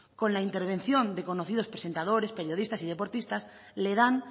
con la intervención de conocidos presentadores periodistas y deportistas que le dan